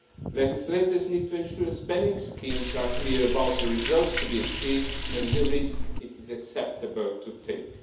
legislators need to ensure that spending schemes are clear about the results to be achieved and the risk it is acceptable to take